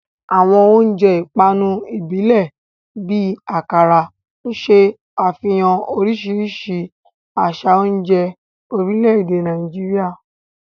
Àwọn oúnjẹ ìpanu ìbílẹ̀ bíi Akara ṣe àfihàn oríṣiríṣi àṣà oúnjẹ orílẹ̀-èdè Nàìjíríà.